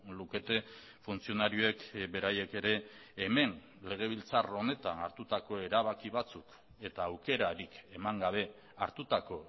lukete funtzionarioek beraiek ere hemen legebiltzar honetan hartutako erabaki batzuk eta aukerarik eman gabe hartutako